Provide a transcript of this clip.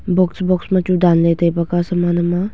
box box machu danley taibak a saman ham a.